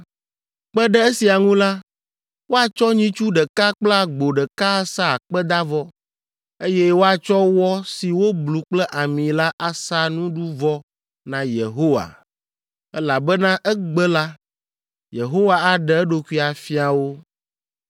Kpe ɖe esia ŋu la, woatsɔ nyitsu ɖeka kple agbo ɖeka asa akpedavɔ, eye woatsɔ wɔ si woblu kple ami la asa nuɖuvɔ na Yehowa, elabena egbe la, Yehowa aɖe eɖokui afia wo.”